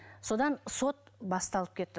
содан сот басталып кетті